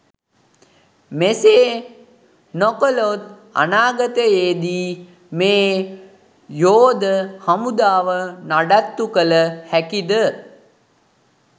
මේසේ නොකලොත් අනාගතයේදී මේ යෝද හමුදාව නඩත්තු කල හැකිද?